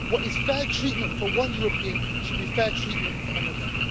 What is fair treatment for one European should be fair treatment for another.